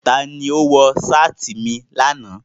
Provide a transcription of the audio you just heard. Tani o wọ seeti mi lana?